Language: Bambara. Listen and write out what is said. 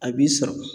A b'i sɔrɔ